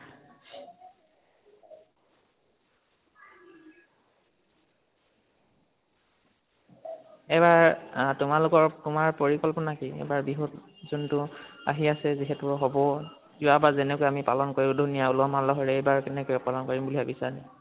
এইবাৰ তোমালোকৰ, তোমাৰ পৰিকল্পানা কি, এইবাৰ বিহুত ? যোনটো আহি আছে যিহেতু হʼব । যোৱাবাৰ যেনেকৈ আমি পালন কৰিলো, উলহ মালহেৰে, এইবাৰ কেনেকৈ পালন কৰিম বুলি ভাবিছা ?